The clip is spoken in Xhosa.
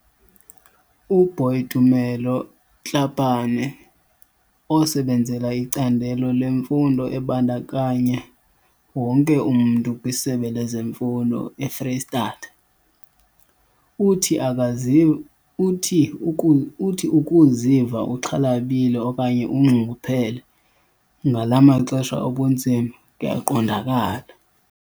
UBoitumelo Tlhapane, osebenzela iCandelo leMfundo eBandakanya wonke umntu kwiSebe lezeMfundo eFreyistatha, uthi akazi uthi uku uthi ukuziva uxhalabile okanye unxunguphele ngala maxesha obunzima kuyaqondakala.